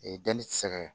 danni ti se